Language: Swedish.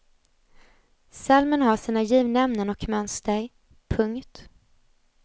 Psalmen har sina givna ämnen och mönster. punkt